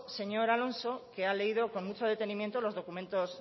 señor alonso que ha leído con mucho detenimiento los documentos